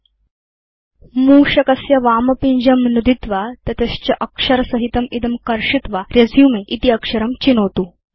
अथ प्रथमं मूषकस्य वामपिञ्जं नुदित्वा तत च अक्षरसहितं इदं कर्षित्वा रेसुमे इति अक्षरं चिनोतु